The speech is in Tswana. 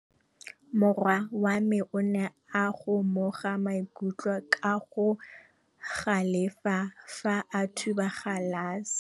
Morwa wa me o ne a kgomoga maikutlo ka go galefa fa a thuba galase.